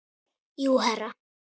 Jú, herra.